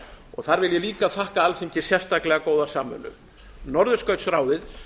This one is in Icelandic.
og þar þakka ég líka alþingi sérstaklega góða samvinnu norðurskautsráðið